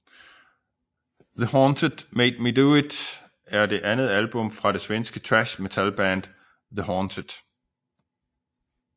The Haunted Made Me Do It er det andet album fra det svenske thrash metalband The Haunted